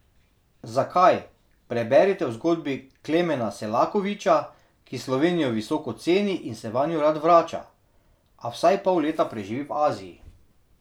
Zakaj, preberite v zgodbi Klemena Selakoviča, ki Slovenijo visoko ceni in se vanjo rad vrača, a vsaj pol leta preživi v Aziji.